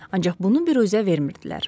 Ancaq bunu büruzə vermirdilər.